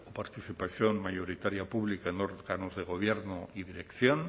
participación mayoritaria pública en órganos de gobierno y dirección